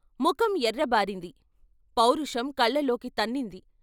ముఖం ఎర్రబారింది పౌరుషం కళ్ళలోకి తన్నింది.